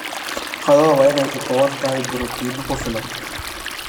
Qadada waa inay ka kooban tahay borotiinno ku filan.